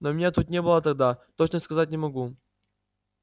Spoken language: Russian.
но меня тут не было тогда точно сказать не могу